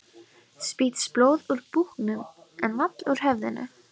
Spýttist blóð úr búknum en vall úr höfðinu.